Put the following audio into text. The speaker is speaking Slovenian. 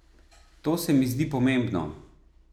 To se mi zdi pomembno.